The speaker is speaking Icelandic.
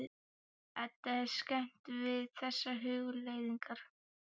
Eddu er skemmt við þessar hugleiðingar.